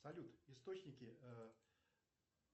салют источники